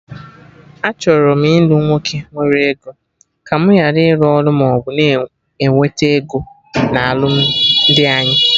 Achọrọ m ilu nwoke nwere ego, ka mụ gharị ịrụ ọrụ maọbụ na-ewete ego na alụmdi anyị